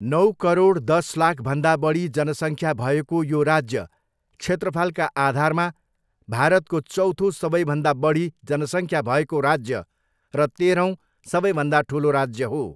नौ करोड दस लाखभन्दा बढी जनसङ्ख्या भएको यो राज्य क्षेत्रफलका आधारमा भारतको चौथो सबैभन्दा बढी जनसङख्या भएको राज्य र तेह्रौँ सबैभन्दा ठुलो राज्य हो।